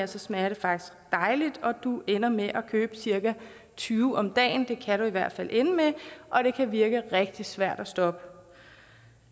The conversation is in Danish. smager det faktisk dejligt og du ender med at købe cirka tyve om dagen det kan det i hvert fald ende med og det kan virke rigtig svært at stoppe